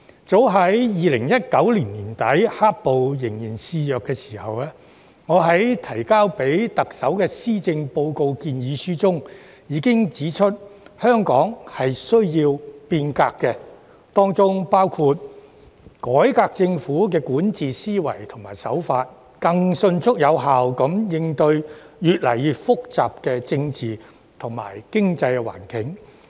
早於2019年年底，"黑暴"仍然肆虐的時候，我在提交予特首的施政報告建議書中，已經指出香港需要變革，當中包括改革政府管治思維和手法，以更迅速有效地應對越來越複雜的政治及經濟環境。